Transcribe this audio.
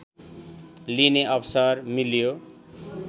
लिने अवसर मिल्यो